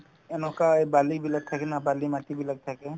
এনেকুৱা এই বালিবিলাক থাকে ন বালিমাটিবিলাক থাকে